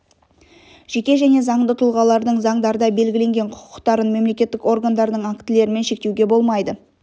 жеке және заңды тұлғалардың заңдарда белгіленген құқықтарын мемлекеттік органдардың актілерімен шектеуге болмайды